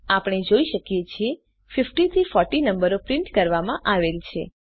આપણે જોઈ શકીએ છીએ 50 થી 40 નંબરો પ્રિન્ટ કરવામાં આવેલ છે